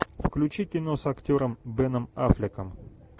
включи кино с актером беном аффлеком